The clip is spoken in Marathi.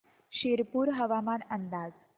शिरपूर हवामान अंदाज